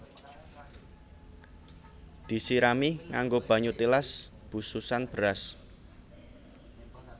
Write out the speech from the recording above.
Disirami nganggo banyu tilas bususan beras